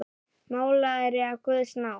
Málari af guðs náð.